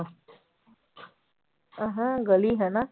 ਐਂ ਹੈਂ ਗਲੀ ਹਨਾ।